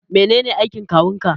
Menene aikin kawun ka?